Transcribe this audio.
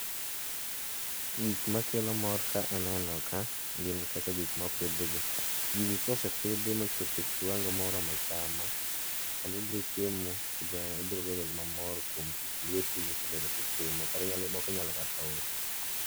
gik makelo mor ka aneno ka gin kaka gik mpidh gi, gigi kose pidhi mochopo e kiwango moroma chama, to sama ibiro chiemo ibiro bedo mamor kuom tich lweti misebedo kitimo moko inyalo kata usi.